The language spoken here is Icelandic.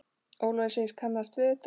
Ólafur segist kannast við þetta.